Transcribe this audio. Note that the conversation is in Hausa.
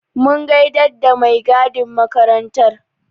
Mun gaida da mai gadin makarantar.